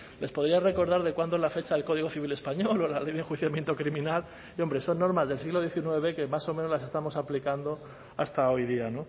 les podía recordar de cuándo es la fecha del código civil español o la ley de enjuiciamiento criminal que hombre son normas del siglo diecinueve que más o menos las estamos aplicando hasta hoy día